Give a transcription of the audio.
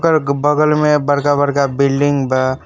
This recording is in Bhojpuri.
बगल में बड़का बड़का बिल्डिंग बा।